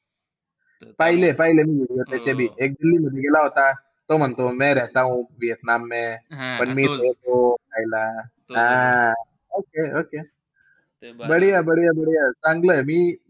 पहिले-पहिले मी video त्याचे बी तो म्हणतो हां okay okay चांगलंय.